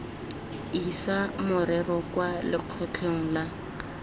isa morero kwa lekgotleng la